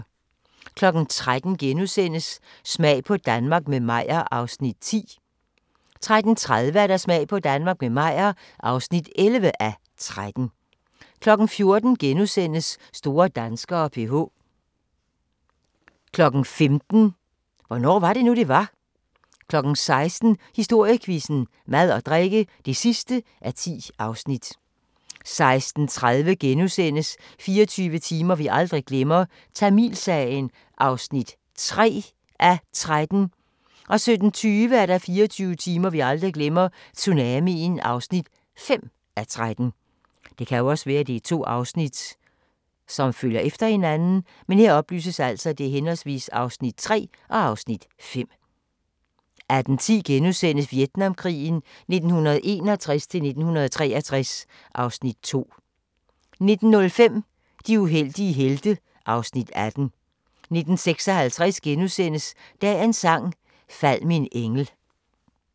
13:00: Smag på Danmark – med Meyer (10:13)* 13:30: Smag på Danmark – med Meyer (11:13) 14:00: Store danskere: PH * 15:00: Hvornår var det nu, det var? 16:00: Historiequizzen: Mad og drikke (10:10) 16:30: 24 timer vi aldrig glemmer – Tamilsagen (3:13)* 17:20: 24 timer vi aldrig glemmer – Tsunamien (5:13) 18:10: Vietnamkrigen 1961-1963 (Afs. 2)* 19:05: De uheldige helte (Afs. 18) 19:56: Dagens Sang: Fald min engel *